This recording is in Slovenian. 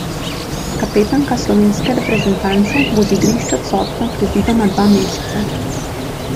Kapetanka slovenske reprezentance bo z igrišč odsotna predvidoma dva meseca.